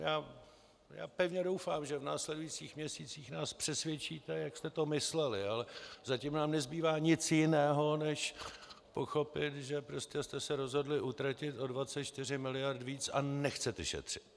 Já pevně doufám, že v následujících měsících nás přesvědčíte, jak jste to mysleli, ale zatím nám nezbývá nic jiného, než pochopit, že prostě jste se rozhodli utratit o 24 mld. víc a nechcete šetřit.